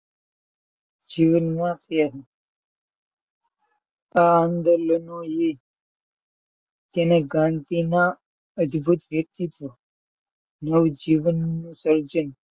જીવન માં કેમ આ આંદોલોનો યે તેને ગાંધી નાં અદભુત વ્યક્તિત્વ નું નવજીવન સર્જન,